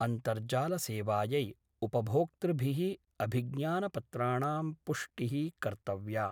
अन्तर्जाल सेवायै उपभोक्तृभिः अभिज्ञानपत्राणां पुष्टिः कर्तव्या।